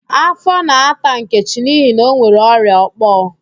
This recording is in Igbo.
Afọ na-ata Nkechi n'ihi na onwere ọrịa ókpó